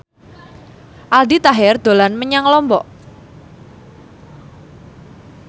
Aldi Taher dolan menyang Lombok